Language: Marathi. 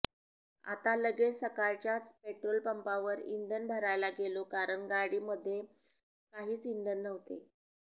आता लगेच सकाळच्याच पेट्रोल पंपावर इंधन भरायला गेलो कारण गाडी मध्ये काहीच इंधन नव्हते